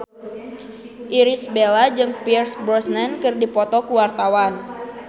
Irish Bella jeung Pierce Brosnan keur dipoto ku wartawan